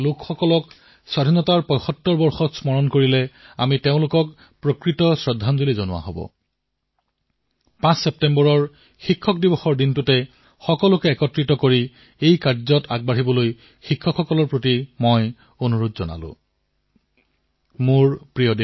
এনে মহান ব্যক্তিসকলক যদি আমি সন্মুখলৈ লৈ আহো তেন্তে স্বাধীনতাৰ ৭৫তম বৰ্ষত তেওঁলোকৰ প্ৰতি এয়া হব প্ৰকৃত শ্ৰদ্ধাঞ্জলি আৰু ৫ ছেপ্টেম্বৰত শিক্ষক দিৱস পালন কৰাৰ পৰিপ্ৰেক্ষিতত মই আমাৰ শিক্ষক বন্ধুসকলৰ পৰা নিশ্চয়কৈ আগ্ৰহ কৰিম যে তেওঁলোকে ইয়াৰ বাবে এক পৰিবেশৰ সৃষ্টি কৰক আৰু সকলোৱে মিলি কাম আৰম্ভ কৰক